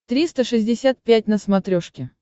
триста шестьдесят пять на смотрешке